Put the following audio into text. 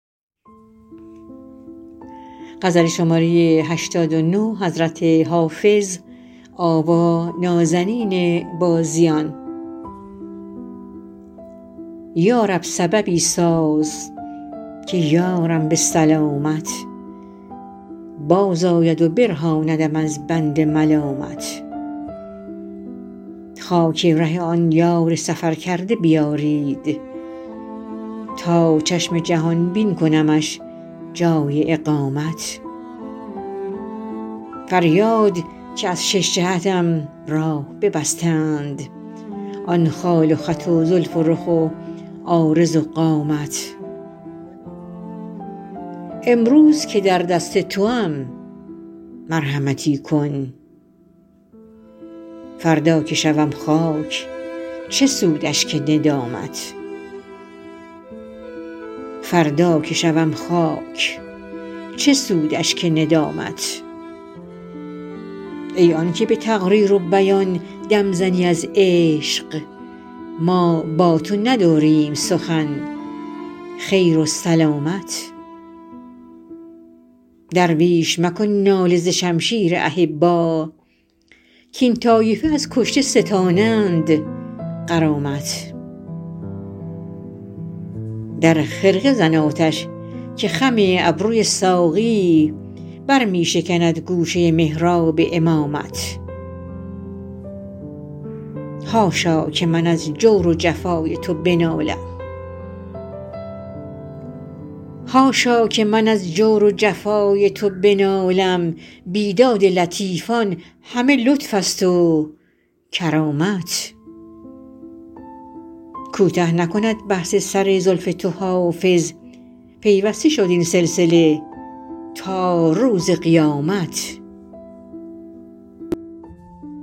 یا رب سببی ساز که یارم به سلامت بازآید و برهاندم از بند ملامت خاک ره آن یار سفرکرده بیارید تا چشم جهان بین کنمش جای اقامت فریاد که از شش جهتم راه ببستند آن خال و خط و زلف و رخ و عارض و قامت امروز که در دست توام مرحمتی کن فردا که شوم خاک چه سود اشک ندامت ای آن که به تقریر و بیان دم زنی از عشق ما با تو نداریم سخن خیر و سلامت درویش مکن ناله ز شمشیر احبا کاین طایفه از کشته ستانند غرامت در خرقه زن آتش که خم ابروی ساقی بر می شکند گوشه محراب امامت حاشا که من از جور و جفای تو بنالم بیداد لطیفان همه لطف است و کرامت کوته نکند بحث سر زلف تو حافظ پیوسته شد این سلسله تا روز قیامت